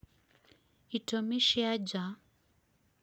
itũmi cia nja